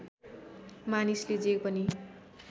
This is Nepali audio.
मानिसले जे पनि